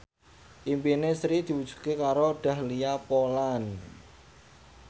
impine Sri diwujudke karo Dahlia Poland